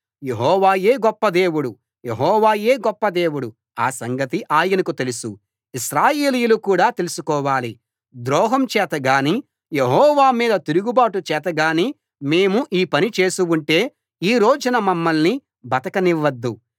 యెహోవాయే గొప్ప దేవుడు యెహోవాయే గొప్ప దేవుడు ఆ సంగతి ఆయనకు తెలుసు ఇశ్రాయేలీయులు కూడా తెలుసుకోవాలి ద్రోహం చేతగానీ యెహోవా మీద తిరుగుబాటు చేతగానీ మేము ఈ పని చేసి ఉంటే ఈ రోజున మమ్మల్ని బతకనివ్వవద్దు